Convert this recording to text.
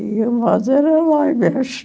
E o era lá embaixo.